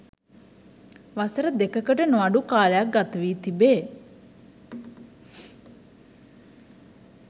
වසර දෙකකට නොඅඩු කාලයක් ගත වී තිබේ